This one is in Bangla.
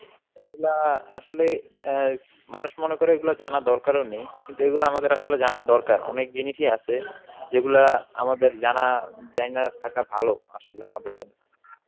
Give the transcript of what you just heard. এইগুলা আসলে অ্যাঁ মানুষ মনে করে এইগুলা জানার দরকারও নেই, কিন্তু এইগুলো আমাদের আসলে জানা দরকার, অনেক জিনিসই আছে যেগুলা আমাদের জানা~ জাইনা থাকা ভালো আসলে আমাদের জন্য.